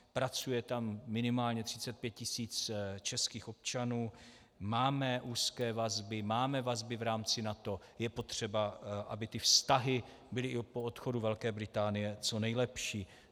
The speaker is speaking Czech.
Pracuje tam minimálně 35 tis. českých občanů, máme úzké vazby, máme vazby v rámci NATO, je potřeba, aby ty vztahy byly i po odchodu Velké Británie co nejlepší.